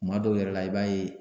Kuma dɔw yɛrɛ la i b'a ye